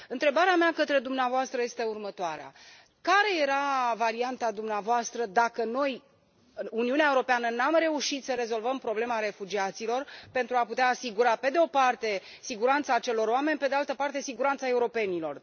Întrebarea mea către dumneavoastră este următoarea care era varianta dumneavoastră dacă noi, Uniunea Europeană, nu am fi reușit să rezolvăm problema refugiaților pentru a putea asigura, pe de o parte, siguranța acelor oameni și, pe de altă parte, siguranța europenilor.